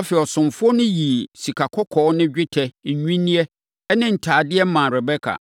Afei, ɔsomfoɔ no yii sikakɔkɔɔ ne dwetɛ nnwinneɛ ne ntadeɛ maa Rebeka.